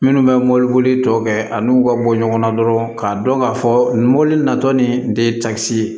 Minnu bɛ mɔbili boli tɔ kɛ ani n'u ka bɔ ɲɔgɔn na dɔrɔn k'a dɔn k'a fɔ mobili natɔ ni de ye takisi ye